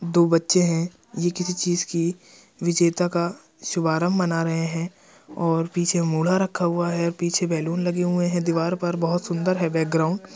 दो बच्चे हैं ये किसी चीज की विजेता का शुभारंभ बना रहे हैं और पीछे मूड़ा रखा हुआ है पीछे बैलून लगे हुए हैं दीवार पर बहुत सुंदर है बैकग्राउंड ।